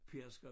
Pedersker